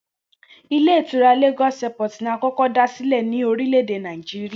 Ile Ìtura ‘Lagos Airport’ ni a kó̩kó̩ dá sílè̩ ní orílè̩-èdè Nàìjíríà